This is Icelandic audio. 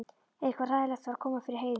Eitthvað hræðilegt var að koma fyrir Heiðu.